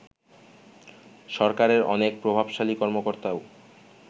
সরকারের অনেক প্রভাবশালী কর্মকর্তাও